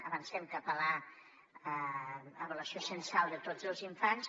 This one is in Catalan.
avancem cap a la avaluació censal de tots els infants